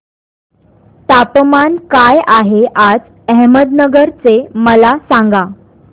तापमान काय आहे आज अहमदनगर चे मला सांगा